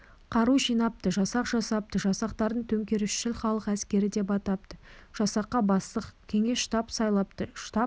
қару жинапты жасақ жасапты жасақтарын төңкерісшіл халық әскері деп атапты жасаққа бастық кеңес-штаб сайлапты штаб есіл